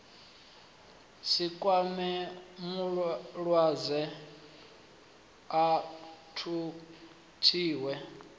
si kwame mulwadze a thuthiwe